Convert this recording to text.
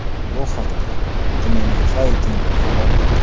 Bu haqda MMAFighting xabar berdi .